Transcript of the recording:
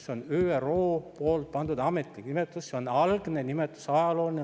See on ÜRO pandud ametlik nimetus, see on algne nimetus, ajalooline.